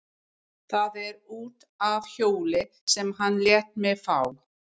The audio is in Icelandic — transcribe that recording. Það er út af hjóli sem hann lét mig fá.